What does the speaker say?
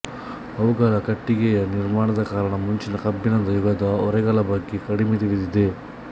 ಅವುಗಳ ಕಟ್ಟಿಗೆಯ ನಿರ್ಮಾಣದ ಕಾರಣ ಮುಂಚಿನ ಕಬ್ಬಿಣದ ಯುಗದ ಒರೆಗಳ ಬಗ್ಗೆ ಕಡಿಮೆ ತಿಳಿದಿದೆ